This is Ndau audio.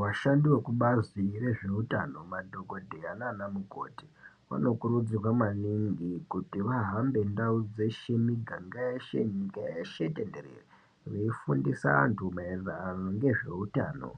Vashandi vekubazi rezveutano, madhokodheya nana mukoti vanokurudzirwa maningi kuti vahambe ndau dzeshe, miganga yeshe, nyika yeshe tenderere veifundisa vantu maererano ngezveutano,